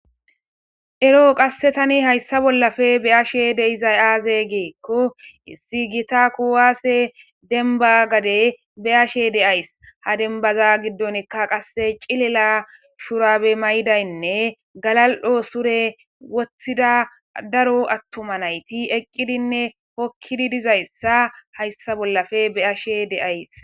ero qasse tani hayssa bollafe beyashe deizay aaze geekko issi gita kuwaase denba gade beyashe deays ha denbaza giddonkka qasse cilila shurabe maydaynne galal7o sure woththida daro attoma nayti eqqidinne pokkidi dizayssa hayssa bollafe beashe deays